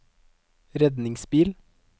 redningsbil